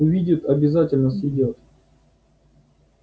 увидят обязательно съедят